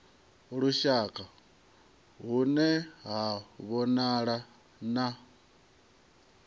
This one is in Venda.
lushaka hune ha vhonala na